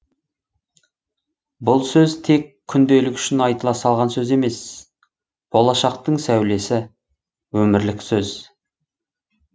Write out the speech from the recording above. бұл сөз тек күнделік үшін айтыла салған сөз емес болашақтың сәулесі өмірлік сөз